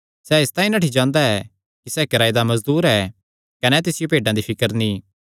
सैह़ इसतांई नठ्ठी जांदा ऐ कि सैह़ किराये दा मजदूर ऐ कने तिसियो भेड्डां दी फिकर नीं